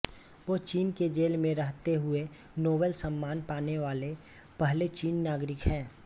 वो चीन की जेल में रहते हुए नोबेल सम्मान पाने वाले पहले चीनी नागरिक हैं